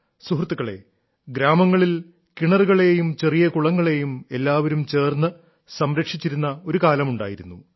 സുഹൃത്തുക്കളേ ഗ്രാമങ്ങളിൽ കിണറുകളേയും ചെറിയ കുളങ്ങളേയും എല്ലാവരും ചേർന്ന് സംരക്ഷിച്ചിരുന്ന ഒരു കാലമുണ്ടായിരുന്നു